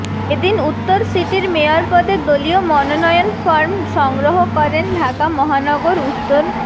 এদিন উত্তর সিটির মেয়র পদে দলীয় মনোনয়ন ফরম সংগ্রহ করেন ঢাকা মহানগর উত্তর